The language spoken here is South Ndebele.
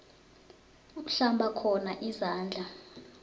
uhlamba khona izandla